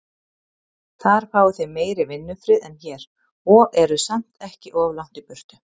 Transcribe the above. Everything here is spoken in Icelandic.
Þar fáið þið meiri vinnufrið en hér, og eruð samt ekki of langt í burtu.